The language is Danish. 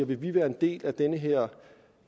vi vil være en del af den her